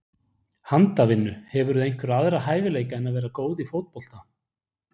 Handavinnu Hefurðu einhverja aðra hæfileika en að vera góð í fótbolta?